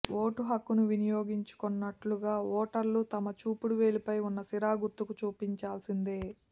vote హక్కును వినియోగించుకొన్నట్టుగా ఓటర్లు తమ చూపుడు వేలిపై ఉన్న సిరా గుర్తును చూపించాల్సిందే